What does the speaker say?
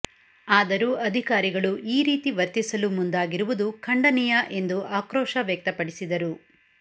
ಆದರೂ ಅಧಿಕಾರಿಗಳು ಈ ರೀತಿ ವರ್ತಿಸಲು ಮುಂದಾಗಿರುವುದು ಖಂಡನೀಯ ಎಂದು ಆಕ್ರೋಶ ವ್ಯಕ್ತಪಡಿಸಿದರು